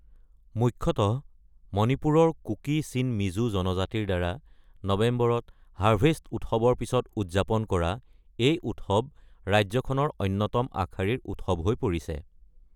মুখ্যতঃ মণিপুৰৰ কুকি-চিন-মিজো জনজাতিৰ দ্বাৰা নৱেম্বৰত হাৰ্ভেষ্ট উৎসৱৰ পিছত উদযাপন কৰা এই উৎসৱ ৰাজ্যখনৰ অন্যতম আগশাৰীৰ উৎসৱ হৈ পৰিছে।